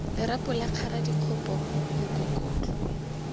lerapo la kgara dikgopo mokokotlo